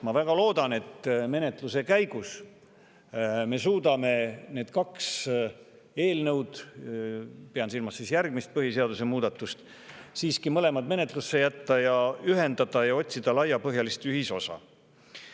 Ma väga loodan, et menetluse käigus me suudame need kaks eelnõu – pean silmas ka järgmist põhiseaduse muutmist – siiski menetlusse jätta ja ühendada ning otsida laiapõhjalist ühisosa.